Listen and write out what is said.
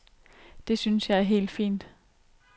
Det synes jeg er helt fint.